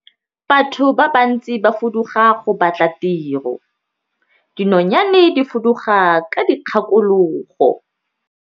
Batho ba bantsi ba fuduga go batla tiro, dinonyane di fuduga ka dikgakologo.